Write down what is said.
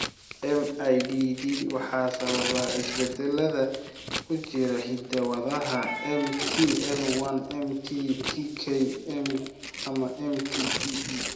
MIDD waxaa sababa isbeddellada ku jira hidda-wadaha MT TL1, MT TK, ama MT TE.